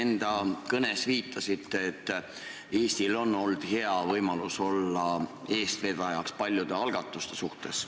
Enda kõnes te viitasite, et Eestil on olnud hea võimalus olla eestvedajaks paljude algatuste suhtes.